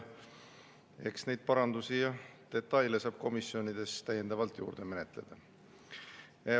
Eks parandusi ja detaile saab komisjonides veel menetleda.